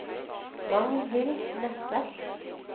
Magnhild Nesset